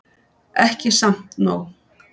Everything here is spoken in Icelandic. Ekki samt nóg.